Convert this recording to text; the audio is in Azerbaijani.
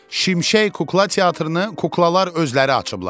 Şimşək Kukla Teatrını kuklalar özləri açıblar.